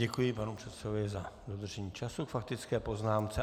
Děkuji panu předsedovi za dodržení času k faktické poznámce.